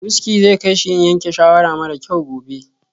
Wuski zai kai shi yin yanke shawara mara kyau gobe.